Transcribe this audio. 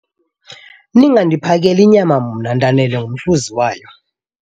Ningandiphakeli nyama mna, ndanele ngumhluzi wayo.